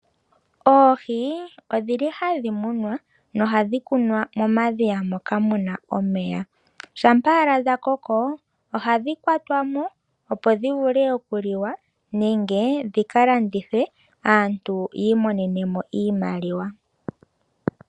Oohi odhili hadhi munwa nohadhi kunwa momadhiya moka muna omeya. Shampa owala dhakoko ohadhi kwatwa mo opo dhivule okuliwa nenge dhika landithwe aantu yiimonenemo iimaliwa.